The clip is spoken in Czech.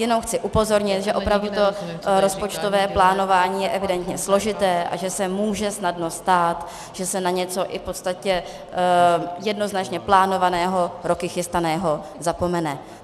Jenom chci upozornit, že opravdu to rozpočtové plánování je evidentně složité a že se může snadno stát, že se na něco i v podstatě jednoznačně plánovaného, roky chystaného zapomene.